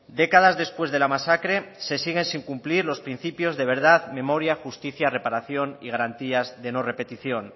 décadas después de la masacre se siguen sin cumplir los principios de verdad memoria justicia reparación y garantías de no repetición